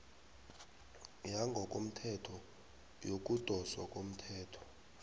yangokothetho yokudoswa komthelo